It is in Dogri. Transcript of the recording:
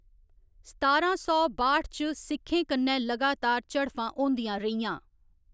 सतारां सौ बाट्ठ च सिखें कन्नै लगातार झड़फां होंदियां रेहियां।